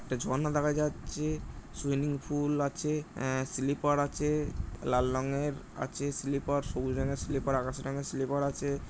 একটি ঝর্ণা দেখা যাচ্ছে। সুইমিং পুল আছে। আ স্লিপার আছে লাল রঙের আছে স্লিপার সবুজ রঙের স্লিপার আকাশি রংয়ের স্লিপার আছে।